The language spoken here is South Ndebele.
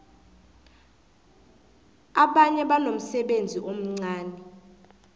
abanye banomsebenzi omncani